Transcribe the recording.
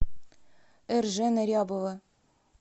эржена рябова